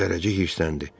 Zərrəcik hirsləndi.